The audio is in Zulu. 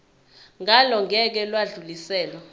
ngalo ngeke lwadluliselwa